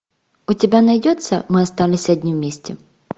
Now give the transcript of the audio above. у тебя найдется мы остались одни вместе